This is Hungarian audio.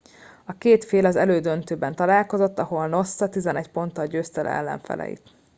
a két fél az elődöntőben találkozott ahol noosa 11 ponttal győzte le ellenfeleit